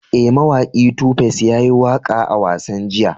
E, mawaki Tu Face ya yi waƙa a wasan jiya.